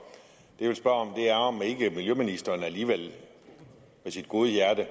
ikke miljøministeren alligevel med sit gode hjerte